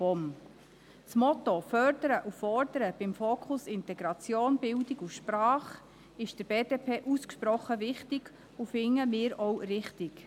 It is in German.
Das Motto «Fördern und Fordern» mit dem Fokus auf Integration, Bildung und Sprache ist der BDP ausgesprochen wichtig, und wir finden es auch richtig.